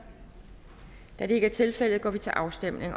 da det ikke er tilfældet går vi til afstemning